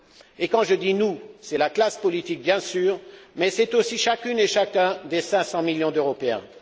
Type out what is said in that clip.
Et quand je dis nous, c'est la classe politique, bien sûr, mais c'est aussi chacune et chacun des 500 millions d'Européens.